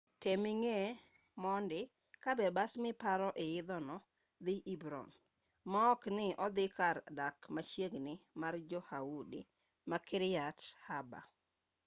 tem ing'e mondi ka be bas miparo idho no dhi hebron maok ni odhi kar dak machiegi mar jo-yahudi ma kiryat arba